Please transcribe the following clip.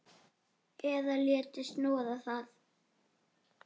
Eða léti snoða það.